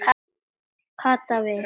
Kata við.